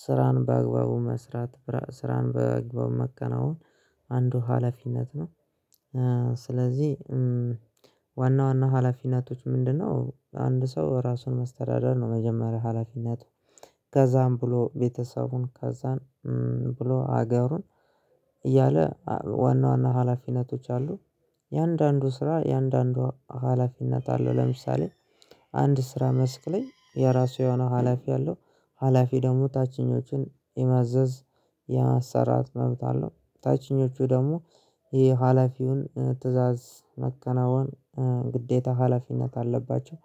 ስራን በአግባቡ መስራት ስራን በአግባቡ መከናወን አንዱ ሀላፊነት ነው። ስለዚህ ዋና ዋና ሀላፊነቶች ምንድነው አንድ ሰው ራሱን መስተዳደር ነው መጀመሪያ ሀላፊነት። ከዛም ብሎ ቤተሰቡን ከዛን ብሎ ሀገሩን እያለ ዋና ዋና ሀላፊነቶች አሉ። የአንዳንዱ ስራ የአንዳንዱ ሀላፊነት አለው ለምሳሌ አንድ ስራ መስክ ላይ የራሱ የሆነ ሀላፊ አለው። ሀላፊ ደግሞ ታችኞችን የማዘዝ የማሰራት መብት አለው። ታችኞቹ ደግሞ የሀላፊውን ትእዛዝ መከናወን ግዴታ ሀላፊነት አለባቸው።